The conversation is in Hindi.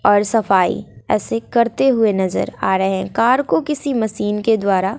और सफाई ऐसे करते हुए नजर आ रहे हैं कार को किसी मशीन के द्वारा--